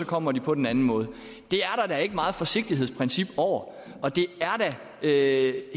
kommer de på den anden måde det er der da ikke meget forsigtighedsprincip over og det er